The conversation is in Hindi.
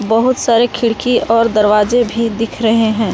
बहोत सारे खिड़की और दरवाजे भी दिख रहे हैं।